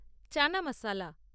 chana masala